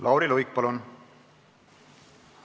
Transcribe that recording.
Lauri Luik, palun!